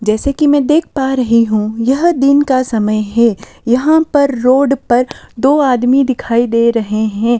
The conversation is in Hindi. जैसे कि मैं देख पा रही हूं यह दिन का समय है यहां पर रोड पर दो आदमी दिखाई दे रहे हैं।